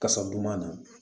Kasaduman na